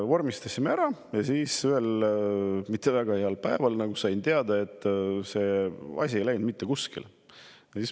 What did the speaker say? Vormistasime selle ära ja siis ühel mitte väga heal päeval sain teada, et see asi ei mitte kuskile.